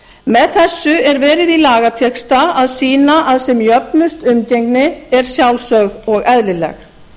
með þessu er verið í lagatexta að sýna að sem jöfnust umgengni er sjálfsögð og eðlileg